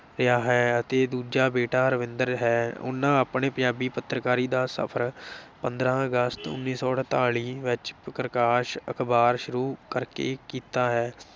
ਰਿਹਾ ਹੈ ਅਤੇ ਦੁਜਾ ਬੇਟਾ ਰਵਿੰਦਰ ਹੈ ਉਨ੍ਹਾਂ ਆਪਣਾ ਪੰਜਾਬੀ ਪੱਤਰਕਾਰੀ ਦਾ ਸਫ਼ਰ ਪੰਦਰਾਂ ਅਗਸਤ ਉੱਨੀ ਸੌ ਅੜਤਾਲੀ ਵਿੱਚ ਪ੍ਰਕਾਸ਼ ਅਖ਼ਬਾਰ ਸ਼ੁਰੂ ਕਰਕੇ ਕੀਤਾ ਹੈ